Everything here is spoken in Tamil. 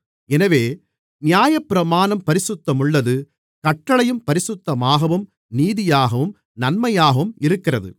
எனவே நியாயப்பிரமாணம் பரிசுத்தமுள்ளது கட்டளையும் பரிசுத்தமாகவும் நீதியாகவும் நன்மையாகவும் இருக்கிறது